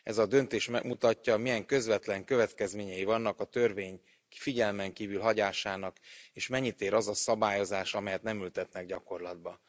Ez a döntés megmutatja, milyen közvetlen következményei vannak a törvény figyelmen kívül hagyásának, és mennyit ér az a szabályozás, amelyet nem ültetnek gyakorlatba.